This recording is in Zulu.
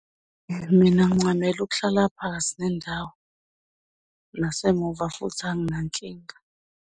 Mina ngincamela ukuhlala phakathi nendawo nasemuva futhi anginankinga.